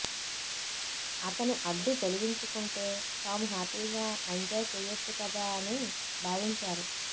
అతని అడ్డు తొలగించుకుంటే తాము హ్యాపీగా ఎంజాయ్ చేయొచ్చు కదా అని భావించారు